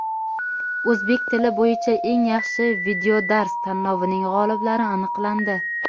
"O‘zbek tili bo‘yicha eng yaxshi videodars" tanlovining g‘oliblari aniqlandi.